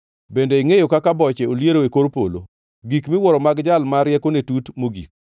Bende ingʼeyo kaka boche oliero e kor polo, gik miwuoro mag Jal ma riekone tut mogik?